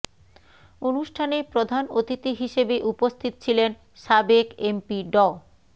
অনুষ্ঠানে প্রধান অতিথি হিসেবে উপস্থিত ছিলেন সাবেক এমপি ড